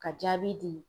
Ka jaabi di